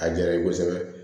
A diyara ye kosɛbɛ